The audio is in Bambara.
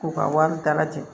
K'u ka wari dala jɛ